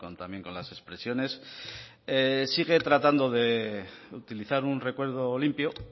también con las expresiones sigue tratando de utilizar un recuerdo limpio